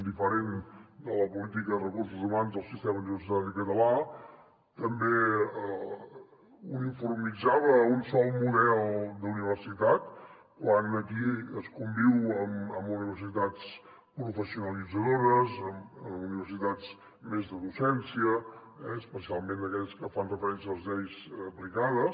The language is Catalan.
diferent de la política de recursos hu mans del sistema català també uniformitzava un sol model d’universitat quan aquí es conviu amb universitats professionalitzadores amb universitats més de docència especialment aquelles que fan referència a les lleis aplicades